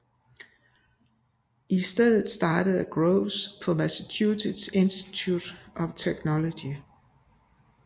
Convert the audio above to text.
I stedet startede Groves på Massachusetts Institute of Technology